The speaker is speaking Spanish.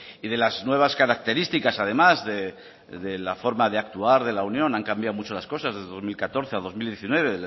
y de las nuevas características además de la forma de actuar de la unión han cambiado mucho las cosas desde dos mil catorce a dos mil diecinueve